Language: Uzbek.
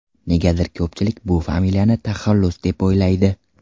Negadir ko‘pchilik bu familiyani taxallus deb o‘ylaydi”.